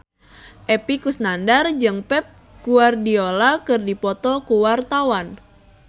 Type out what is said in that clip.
Epy Kusnandar jeung Pep Guardiola keur dipoto ku wartawan